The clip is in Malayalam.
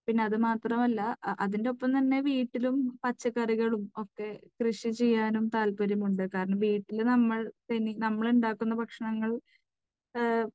പിന്നെ അതു മാത്രമല്ല, അതിൻറെ ഒപ്പം തന്നെ വീട്ടിലും പച്ചക്കറികളും ഒക്കെ കൃഷി ചെയ്യാനും താല്പര്യമുണ്ട്. കാരണം, വീട്ടിൽ നമ്മൾ തനി, നമ്മൾ ഉണ്ടാക്കുന്ന ഭക്ഷണങ്ങൾ